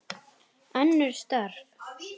Önnur störf.